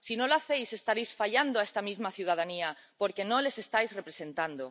Si no lo hacéis, estaréis fallando a esta misma ciudadanía porque no la estáis representando.